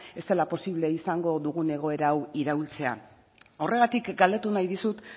ez dela posible izango dugun egoera hau iraultzea horregatik galdetu nahi dizut